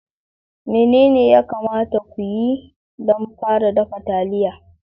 Menene ya kamata ku yi don fara dafa taliya?